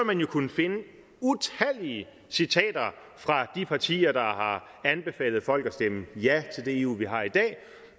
man jo kunne finde utallige citater fra de partier der har anbefalet folk at stemme ja til det eu vi har i dag